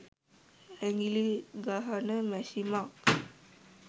ඇඟිලි ගහන මැෂිමක්